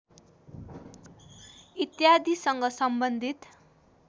इत्यादीसँग सम्बन्धित